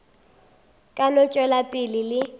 ka no tšwela pele le